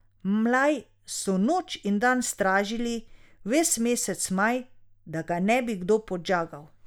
Mlaj so noč in dan stražili ves mesec maj, da ga ne bi kdo podžagal.